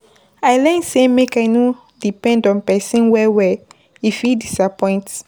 I learn sey make I no depend on pesin well-well, e fit disappoint.